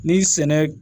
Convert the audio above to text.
Ni sɛnɛ